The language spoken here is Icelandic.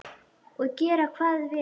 Og gera hvað við hann?